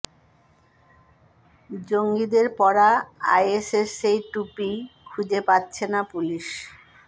জঙ্গিদের পরা আইএসের সেই টুপিই খুঁজে পাচ্ছে না পুলিশ